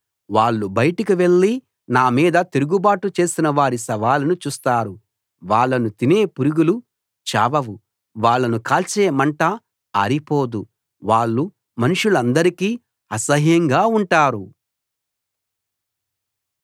వాళ్ళు బయటికి వెళ్లి నామీద తిరుగుబాటు చేసినవారి శవాలను చూస్తారు వాళ్ళను తినే పురుగులు చావవు వాళ్ళను కాల్చే మంట ఆరిపోదు వాళ్ళు మనుషులందరికీ అసహ్యంగా ఉంటారు